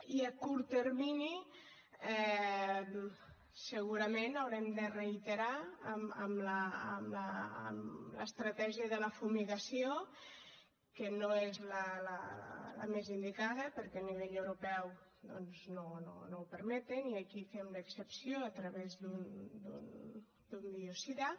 i a curt termini segurament haurem de reiterar en l’estratègia de la fumigació que no és la més indicada perquè a nivell europeu doncs no ho permeten i aquí fem l’excepció a través d’un biocida